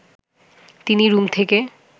তিনি রুম থেকে